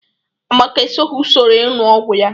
Amaka esoghi usoro iṅụ ọgwọ ya.